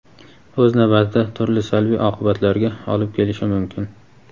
o‘z navbatida turli salbiy oqibatlarga olib kelishi mumkin.